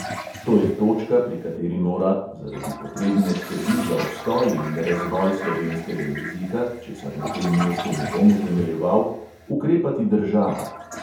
To je točka, pri kateri mora (zaradi potrebne skrbi za obstoj in razvoj slovenskega jezika, česar na tem mestu ne bom utemeljeval) ukrepati država.